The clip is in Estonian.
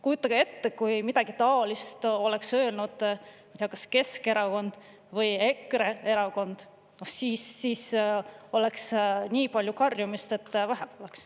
Kujutage ette, kui midagi taolist oleks öelnud kas Keskerakond või EKRE erakond, siis oleks nii palju karjumist, et vähe poleks.